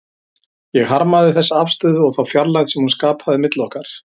Ég harmaði þessa afstöðu og þá fjarlægð sem hún skapaði milli okkar.